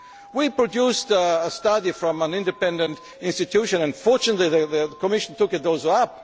There is no money? We produced a study from an independent institution, and fortunately the Commission